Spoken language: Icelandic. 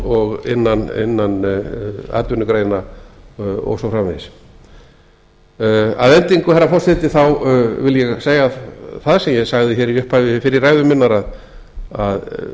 og innan atvinnugreina og svo framvegis að endingu herra forseti þá vil ég segja það sem ég sagði hér í upphafi fyrri ræðu minnar að